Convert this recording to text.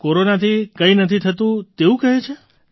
કોરોનાથી કંઈ નથી થતું તેવું કહે છે